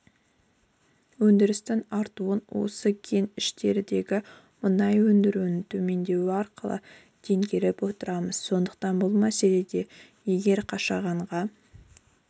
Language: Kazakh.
өндірісінің артуын осы кеніштердегі мұнай өндіріуінің төмендеуі арқылы теңгеріп отырамыз сондықтан бұл мәселеде егер қашағанға